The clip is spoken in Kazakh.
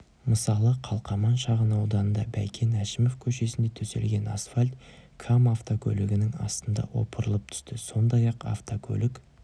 мысалы қалқаман шағын ауданында бәйкен әшімов көшесінде төселген асфальт кам автокөлігінің астында опырылып түсті сондай-ақ автокөлік